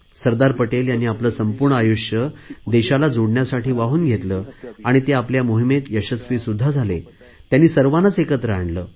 सरदार पटेल यांनी आपले संपूर्ण आयुष्य देशाला जोडण्यासाठी वाहून घेतले आणि ते आपल्या मोहिमेत यशस्वी सुध्दा झाले त्यांनी सर्वांनाच एकत्र आणले